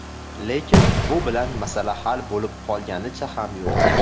Lekin, bu bilan masala hal bo‘lib qolganicha ham yo‘q.